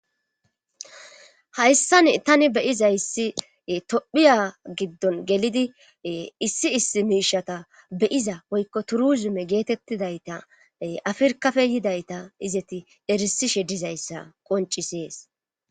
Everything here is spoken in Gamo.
hayssani tani be7izayssi tophiya giddon gelidi issi issi miishata be7iza woykko turuzume geetettidayta afirkafe yidayta izeti erissishe dizayssa qonccisees.